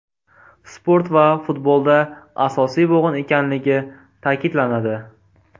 Sport va futbolda asosiy bo‘g‘in ekanligi ta’kidlanadi.